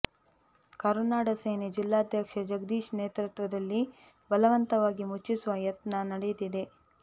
ಕರುನಾಡ ಸೇನೆ ಜಿಲ್ಲಾದ್ಯಕ್ಷ ಜಗದೀಶ್ ನೇತೃತ್ವದಲ್ಲಿ ಬಲವಂತವಾಗಿ ಮುಚ್ಚಿಸುವ ಯತ್ನ ನಡೆದಿದೆ